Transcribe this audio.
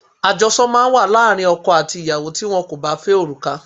Ajosọ máa ń wà láàárín ọkọ àti ìyàwó tí wón kò bá fẹ́ òrùka.